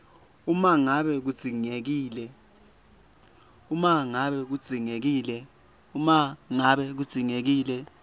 uma ngabe kudzingekile